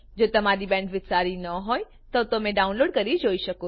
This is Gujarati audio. જો તમારી બેન્ડવિડ્થ સારી ન હોય તો તમે ડાઉનલોડ કરી તે જોઈ શકો છો